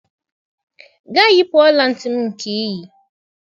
Gaa yipụ ọla ntị m nke i yi!